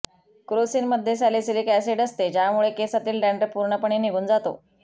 क्रोसिनमध्ये salicylic acid असते ज्यामुळे केसांतील डँड्रफ पूर्णपणे निघून जातो